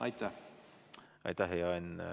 Aitäh, hea Henn!